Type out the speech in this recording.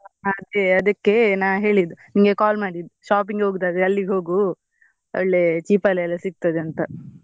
ಹಾ ಅದಕ್ಕೆ ನಾನ್ ಹೇಳಿದ್ ನಿಂಗೆ call ಮಾಡಿದ್ shopping ಹೋಗೂದಾದ್ರೆ ಅಲ್ಲಿಗೆ ಹೋಗು ಒಳ್ಳೆ cheap ಅಲ್ ಎಲ್ಲ ಸಿಗ್ತದೆ ಅಂತ.